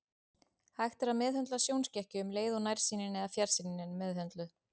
Hægt er að meðhöndla sjónskekkju um leið og nærsýnin eða fjarsýnin er meðhöndluð.